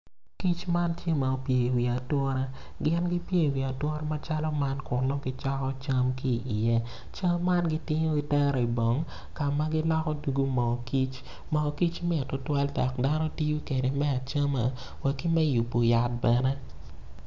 Kic ma tye ma opye i wi atura gin gipye i wi atura macalo man kun nongo gicoko cam ki i iye cam man gitingo gitero i bong ka ma giloko dungu moo kic moo kic mit tutwal dok dano gitiyo kede me acama ki me yubo yat bene